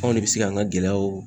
Anw ne bɛ se k'an ka gɛlɛyaw